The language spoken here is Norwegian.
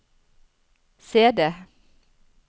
CD